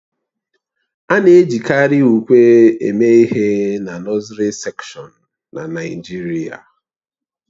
A na-ejikarị ùkwè eme ihe na nọsiri sekshọn na Naịjirịa